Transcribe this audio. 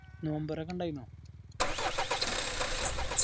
നോമ്പ് തൊറ ഒക്കെ ഇണ്ടായ്‌നോ